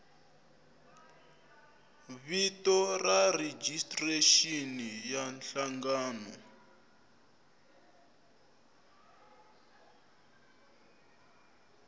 vito ra rejistrexini ya nhlangano